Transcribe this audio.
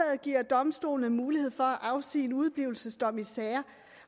giver domstolene mulighed for at afsige udeblivelsesdomme i sager